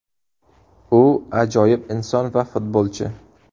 U ajoyib inson va futbolchi.